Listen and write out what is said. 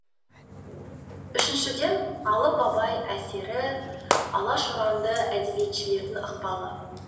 үшіншіден алып абай әсері алаш ұранды әдебиетшілердің ықпалы